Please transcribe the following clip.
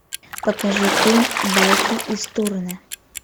покажи фильм байки из турне